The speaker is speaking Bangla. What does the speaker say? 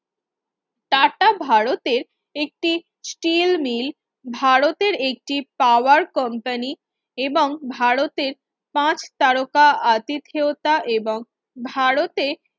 টাটা ভারতের একটি স্টিল মিল ভারতের একটি power company এবং ভারতের পাঁচ তারকা আতিথেয়তা এবং ভারতের